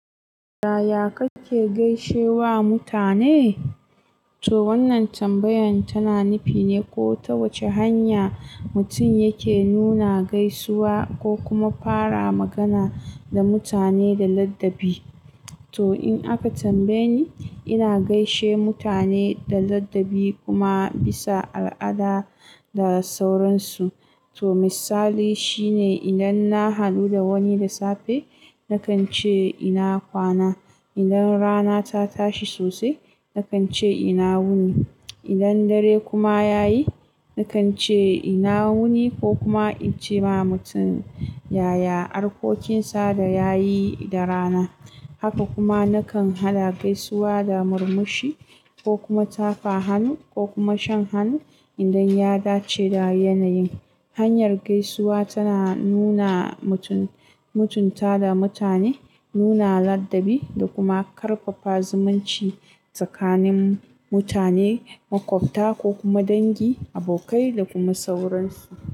Yaya kake gaishe wa mutane? To wannan tambayan tana nufine ko ta wace hanya mutum yake nuna gaisuwa ko kuma fara magana da mutane da ladabi. To in aka tambaye ni, ina gaishe mutane da ladabi kuma bisa al'ada da sauransu. To misali shine idan na hadu da wani da safe, nakan ce "ina kwana". Idan rana ta tashi sosai, nakan ce ina wuni. Idan dare kuma yayi, nakan ce ina wuni ko kuma in ce ma mutum "yaya arkokinsa da yayi da rana". Haka kuma nakan hada gaisuwa da murmushi ko kuma tafa hannu ko kuma shan hannu idan ya dace da yanayin. Hanyar gaisuwa tana nuna mutun--mutunta da mutane, nuna ladabi da kuma karfafa zumunci tsakanin mutane, makwafta ko kuma dangi, abokai da kuma sauransu.